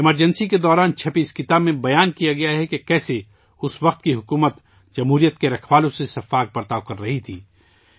emergency کے دوران شائع ہونے والی اس کتاب میں ذکر کیا گیا ہے کہ کیسے اس وقت کی سرکار جمہوریت کے رکھوالوں سے بے رحمانہ سلوک کررہی تھی